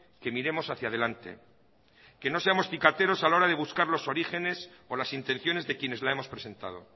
que miremos hacía delante que nos seamos cicateros a la hora de buscar los orígenes o las intenciones de quienes la hemos presentado